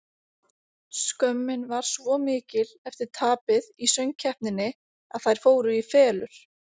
Skömmin var svo mikil eftir tapið í söng-keppninni að þær fóru í felur.